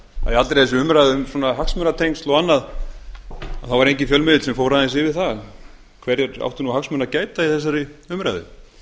þessari umræðu um svona hagsmunatengsl og annað þá var enginn fjölmiðill sem fór aðeins yfir það hverjir áttu hagsmuna að gæta í þessari umræðu